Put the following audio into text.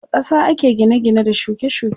A ƙasa ake gine gine da shuke shuke.